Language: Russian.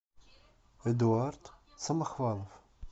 эдуард самохвалов